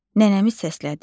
Nənəmi səslədi.